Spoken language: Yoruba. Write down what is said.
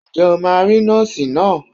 Ǹjẹ́ o máa rí Nọ́ọ̀sì náà?